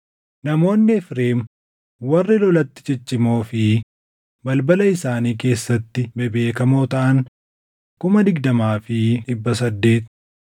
namoonni Efreem warri lolatti ciccimoo fi balbala isaanii keessatti bebeekamoo taʼan 20,800;